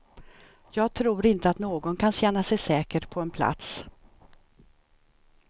Jag tror inte att någon kan känna sig säker på en plats.